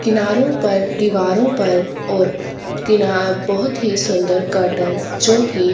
किनारों पर दीवारों पर और किना बहोत ही सुंदर कर्टेन जो की--